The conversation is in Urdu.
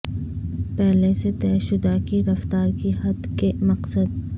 پہلے سے طے شدہ کی رفتار کی حد کے مقصد